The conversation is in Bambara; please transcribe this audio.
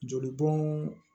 Jolibɔn